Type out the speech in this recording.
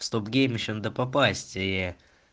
в стопгейм ещё надо попасть и